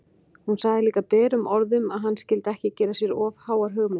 Hún sagði líka berum orðum að hann skyldi ekki gera sér of háar hugmyndir!